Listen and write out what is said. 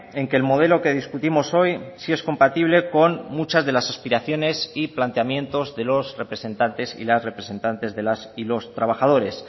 en que el modelo que discutimos hoy sí es compatible con muchas de las aspiraciones y planteamientos de los representantes y las representantes de las y los trabajadores